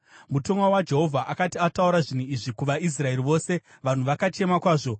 Mutumwa waJehovha akati ataura zvinhu izvi kuvaIsraeri vose, vanhu vakachema kwazvo,